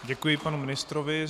Děkuji panu ministrovi.